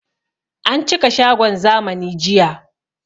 An cika shagon zamani jiya